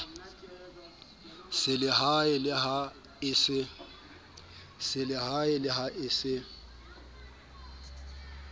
selehae le ha e se